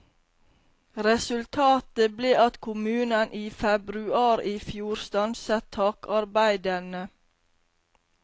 Resultatet ble at kommunen i februar i fjor stanset takarbeidene.